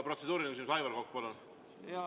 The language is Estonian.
Protseduuriline küsimus, Aivar Kokk, palun!